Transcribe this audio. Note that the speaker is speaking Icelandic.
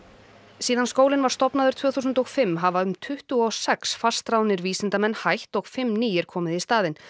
síðan skólinn var stofnaður tvö þúsund og fimm hafa um tuttugu og sex fastráðnir vísindamenn hætt og fimm nýir komið í staðinn